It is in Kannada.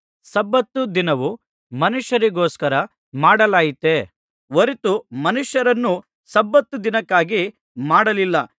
ಸಬ್ಬತ್ ದಿನವು ಮನುಷ್ಯರಿಗೋಸ್ಕರ ಮಾಡಲಾಯಿತೇ ಹೊರತು ಮನುಷ್ಯರನ್ನು ಸಬ್ಬತ್ ದಿನಕ್ಕಾಗಿ ಮಾಡಲಿಲ್ಲ